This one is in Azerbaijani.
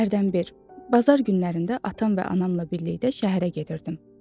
Hərdən bir, bazar günlərində atam və anamla birlikdə şəhərə gedirdim.